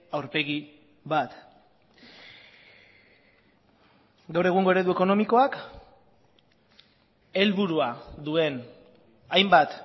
aurpegi bat gaur egungo eredu ekonomikoak helburua duen hainbat